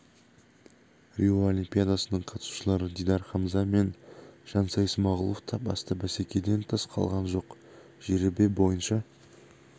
рио олимпиадасының қатысушылары дидар хамза мен жансай смағұлов та басты бәсекеден тыс қалған жоқ жеребе бойынша